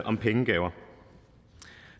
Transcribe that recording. om pengegaver